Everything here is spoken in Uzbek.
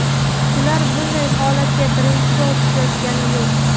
Ular bunday holatga birinchi bor tushayotgani yo‘q.